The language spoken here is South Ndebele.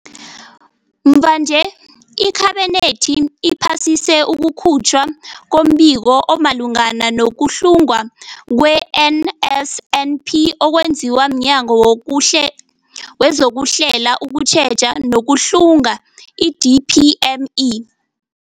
Mvanje, iKhabinethi iphasise ukukhutjhwa kombiko omalungana nokuhlungwa kwe-NSNP okwenziwe mNyango wezokuHlela, ukuTjheja nokuHlunga, i-DPME.